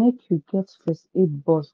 make u get first aid box